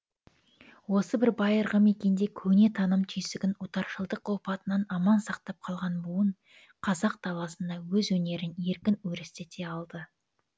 осы бір байырғы мекенде көне таным түйсігін отаршылдық опатынан аман сақтап қалған буын қазақ даласында өз өнерін еркін өрістете алды